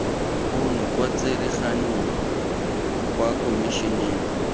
ono kwa tsereganyong kwa komišeneng